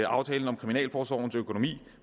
aftalen om kriminalforsorgens økonomi